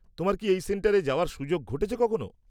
তোমার কি এই সেন্টারে যাওয়ার সুযোগ ঘটেছে কখনও?